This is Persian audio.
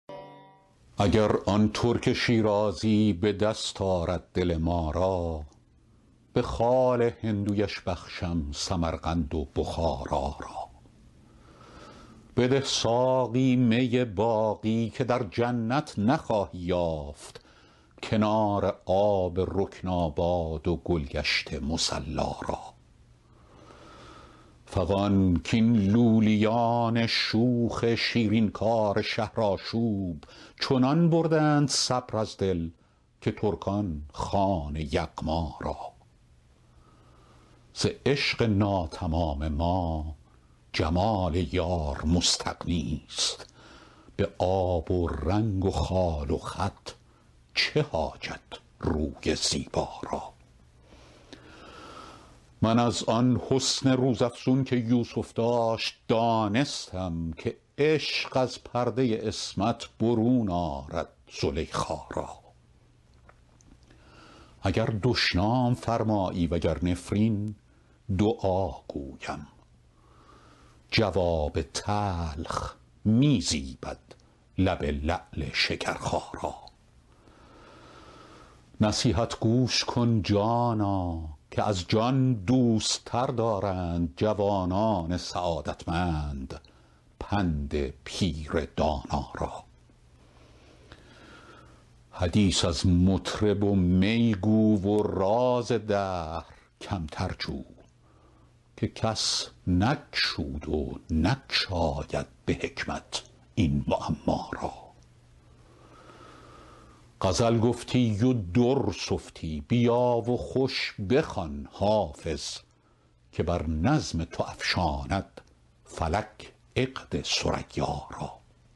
اگر آن ترک شیرازی به دست آرد دل ما را به خال هندویش بخشم سمرقند و بخارا را بده ساقی می باقی که در جنت نخواهی یافت کنار آب رکناباد و گل گشت مصلا را فغان کاین لولیان شوخ شیرین کار شهرآشوب چنان بردند صبر از دل که ترکان خوان یغما را ز عشق ناتمام ما جمال یار مستغنی است به آب و رنگ و خال و خط چه حاجت روی زیبا را من از آن حسن روزافزون که یوسف داشت دانستم که عشق از پرده عصمت برون آرد زلیخا را اگر دشنام فرمایی و گر نفرین دعا گویم جواب تلخ می زیبد لب لعل شکرخا را نصیحت گوش کن جانا که از جان دوست تر دارند جوانان سعادتمند پند پیر دانا را حدیث از مطرب و می گو و راز دهر کمتر جو که کس نگشود و نگشاید به حکمت این معما را غزل گفتی و در سفتی بیا و خوش بخوان حافظ که بر نظم تو افشاند فلک عقد ثریا را